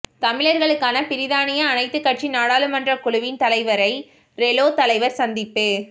தமிழர்களுக்கான பிரித்தானிய அனைத்துக் கட்சி நாடாளுமன்றக் குழுவின் தலைவரை ரெலோ தலைவர் சந்திப்பு